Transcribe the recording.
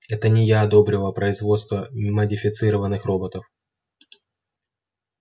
это не я одобрила производство модифицированных роботов